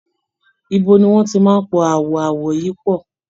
Ibo ni wọ́n ti máa po àwọn àwọ̀ yìí pọ̀?